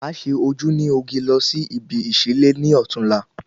Ma ṣe ojú ní oge losí ibi ìsí lé ní ọtún la